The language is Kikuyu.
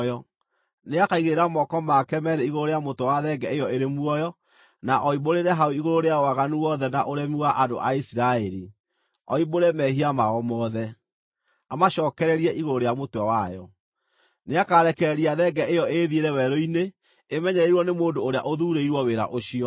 Nĩakaigĩrĩra moko make meerĩ igũrũ rĩa mũtwe wa thenge ĩyo ĩrĩ muoyo, na oimbũrĩre hau igũrũ rĩayo waganu wothe na ũremi wa andũ a Isiraeli, oimbũre mehia mao mothe, amacookererie igũrũ rĩa mũtwe wayo. Nĩakarekereria thenge ĩyo ĩĩthiĩre werũ-inĩ ĩmenyereirwo nĩ mũndũ ũrĩa ũthuurĩirwo wĩra ũcio.